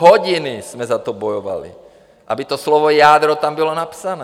Hodiny jsme za to bojovali, aby to slovo jádro tam bylo napsané.